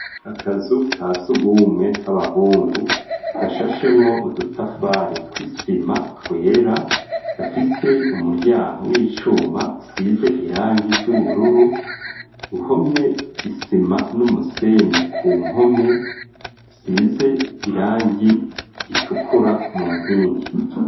Akazu ka sugumwe k'abahungu gashashemwo udutafare tw'isima twera gafise umuryango w'icuma usize irangi ry'ubururu, uhomye isima n'umusenyi ku mpome zisize irangi ritukura mu nkingi.